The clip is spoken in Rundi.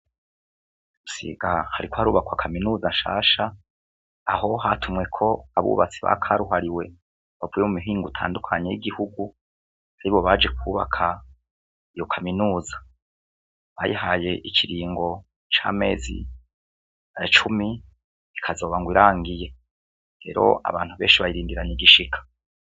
I busiga hariko harubakwa kaminuza shasha aho hatumweko abubatsi ba karuhariwe bavuye mu mihingo itandukanye y'igihugu aribo baje kwubaka iyo kaminuza bayihaye ikiringo c'amezi cumi ikazoba irangiye rero abantu benshi bayirindiranye igishika.